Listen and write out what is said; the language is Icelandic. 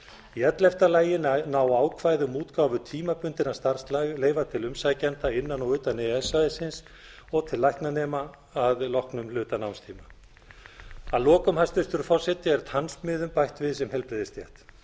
í ellefta lagi ná ákvæði um útgáfu tímabundinna starfsleyfa til umsækjenda innan og utan e e s svæðisins og til læknanema að loknum hluta námstíma að lokum hæstvirtur forseti er tannsmiðum bætt við sem heilbrigðisstétt þá ber